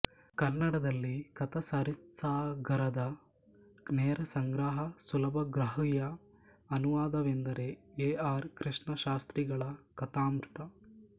ಕನ್ನಡದಲ್ಲಿ ಕಥಾಸರಿತ್ಸಾಗರದ ನೇರ ಸಂಗ್ರಹ ಸುಲಭಗ್ರಾಹ್ಯ ಅನುವಾದವೆಂದರೆ ಎ ಆರ್ ಕೃಷ್ಣಶಾಸ್ತ್ರಿಗಳ ಕಥಾಮೃತ